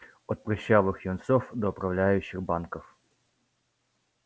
от прыщавых юнцов до управляющих банков